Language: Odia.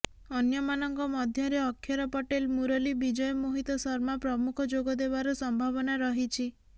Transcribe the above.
ଅନ୍ୟମାନଙ୍କ ମଧ୍ୟରେ ଅକ୍ଷର ପଟେଲ୍ ମୂରଲୀ ବିଜୟ ମୋହିତ ଶର୍ମା ପ୍ରମୁଖ ଯୋଗ ଦେବାର ସମ୍ଭାବନା ରହିଛି